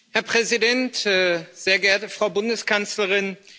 Herr Präsident, sehr geehrte Frau Bundeskanzlerin!